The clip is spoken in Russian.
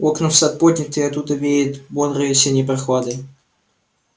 окна в сад подняты и оттуда веет бодрой осенней прохладой